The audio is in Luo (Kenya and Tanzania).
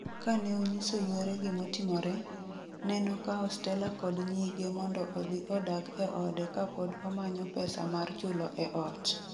Kaneonyiso yuore gimotimore, nenokawo Stella kod nyige mondo odhi odag e ode kapod omanyo pesa mar chulo e ot.